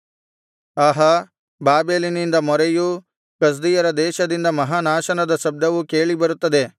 ಆಹಾ ಬಾಬೆಲಿನಿಂದ ಮೊರೆಯೂ ಕಸ್ದೀಯರ ದೇಶದಿಂದ ಮಹಾನಾಶದ ಶಬ್ದವೂ ಕೇಳಿ ಬರುತ್ತದೆ